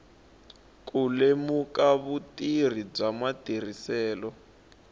ku lemuka vutivi bya matirhiselo